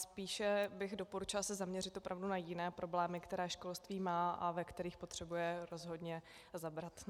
Spíše bych doporučila se zaměřit opravdu na jiné problémy, které školství má a ve kterých potřebuje rozhodně zabrat.